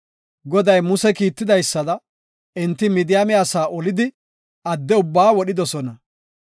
Goday Muse kiitidaysada, enti Midiyaame asaa olidi adde ubbaa wodhidosona.